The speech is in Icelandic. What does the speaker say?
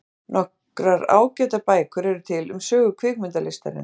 Nokkrar ágætar bækur eru til um sögu kvikmyndalistarinnar.